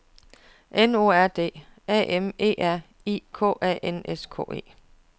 N O R D A M E R I K A N S K E